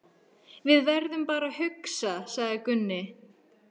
Við verðum bara að hugsa, sagði Gunni.